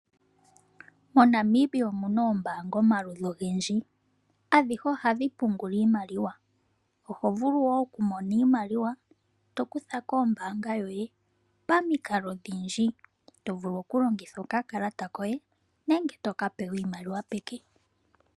MoNamibia omuna oombaanga omaludhi ogendji. Oombaanga adhihe ohadhi vulu oku pungula iimaliwa, oho vulu woo oku nana iimaliwa to kutha kombaanga yoye pamikalo odhindji, to vulu oku longitha okakalata koye nenge toka pewa iimaliwa peke.